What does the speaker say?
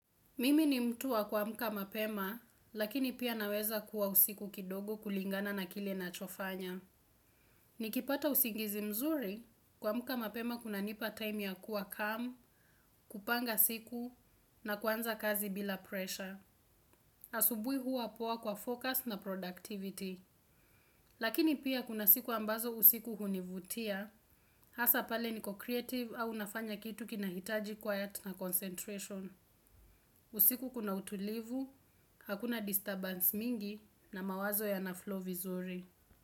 Mimi ni mtu wa kuamka mapema, lakini pia naweza kuwa usiku kidogo kulingana na kile nachofanya. Ni kipata usingizi mzuri, kuamka mapema kunanipa time ya kuwa calm, kupanga siku, na kuanza kazi bila pressure. Asubuhi huwa poa kwa focus na productivity. Lakini pia kuna siku ambazo usiku hunivutia, hasa pale niko creative au nafanya kitu kinahitaji quiet na concentration. Usiku kuna utulivu, hakuna disturbance mingi na mawazo yana flow vizuri.